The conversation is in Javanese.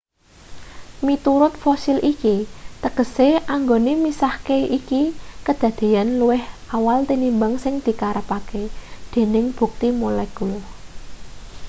"miturut fosil iki tegese anggone misahke iki kadadeyan luwih awal tinimbang sing dikarepke dening bukti molekul.